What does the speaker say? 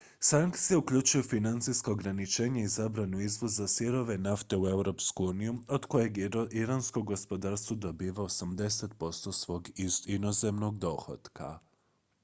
sankcije uključuju financijska ograničenja i zabranu izvoza sirove nafte u europsku uniju od kojeg iransko gospodarstvo dobiva 80 % svog inozemnog dohotka